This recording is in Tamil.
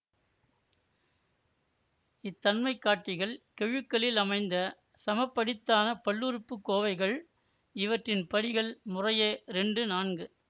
இத்தன்மைகாட்டிகள் கெழுக்களில் அமைந்த சமபடித்தான பல்லுறுப்புக்கோவைகள் இவற்றின் படிகள் முறையே இரண்டு நான்கு